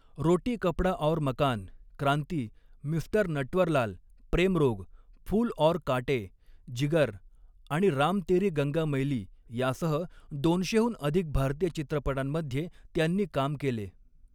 रोटी Kapda aur Makaan, Kranti, mister Natwarlal, Prem Rog, Phool aur Kaante, Jigar आणि राम तेरी गंगा मैली यासह दोनशेहून अधिक भारतीय चित्रपटांमध्ये त्यांनी काम केले.